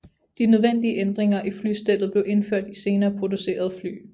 De nødvendige ændringer i flystellet blev indført i senere producerede fly